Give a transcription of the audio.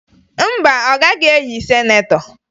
Mba, ọ gaghị eyi sinetọ